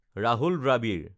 Rahul Dravid